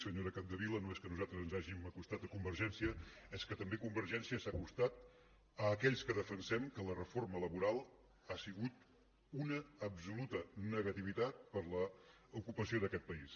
senyora capdevila no és que nosaltres ens hàgim acostat a convergència és que també convergència s’ha acostat a aquells que defensem que la reforma la·boral ha sigut una absoluta negativitat per a l’ocupació d’aquest país